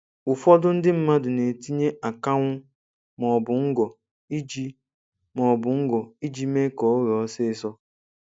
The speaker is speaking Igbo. Ụfọdụ ndị mmadụ na-etinye akanwụ maọbụ ngọ iji maọbụ ngọ iji mee ka o ghee ọsịsọ.